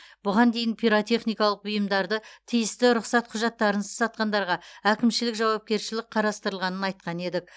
бұған дейін пиротехникалық бұйымдарды тиісті рұқсат құжаттарынсыз сатқандарға әкімшілік жауапкершілік қарастырылғанын айтқан едік